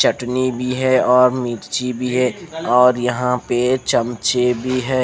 चटनी भी है और मिर्ची भी है और यह पे चमचे भी है।